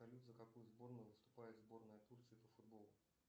салют за какую сборную выступает сборная турции по футболу